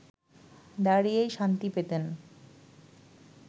দাঁড়িয়েই শান্তি পেতেন